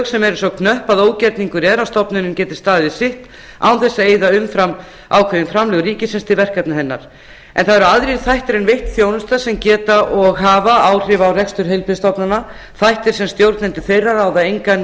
sem eru svo knöpp að ógerningur er að stofnunin geti staðið við sitt án þess að eyða umfram ákveðin framlög ríkisins til verkefna hennar en það eru aðrir þættir en veitt þjónusta sem geta og hafa áhrif á rekstur heilbrigðisstofnana þættir sem stjórnendur þeirra ráða engan